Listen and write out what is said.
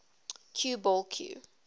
cue ball cue